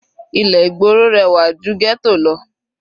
Ilé ìgboro rẹwà ju ghetto lọ.